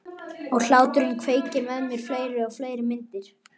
Og hláturinn kveikir með mér fleiri og fleiri myndir.